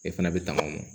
E fana bɛ tagama